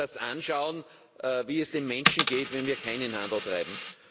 Man kann sich das anschauen, wie es den Menschen geht, wenn wir keinen Handel treiben.